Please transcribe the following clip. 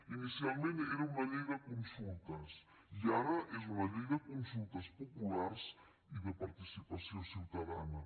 inicialment era una llei de consultes i ara és una llei de consultes populars i de participació ciutadana